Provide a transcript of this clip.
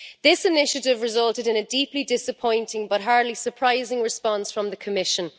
This initiative resulted in a deeply disappointing but hardly surprising response from the Commission.